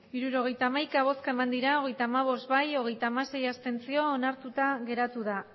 hirurogeita hamaika bai hogeita hamabost abstentzioak hogeita hamasei onartuta geratu da